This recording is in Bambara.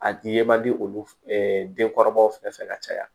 A di ye man di olu denkɔrɔbaw fɛ ka caya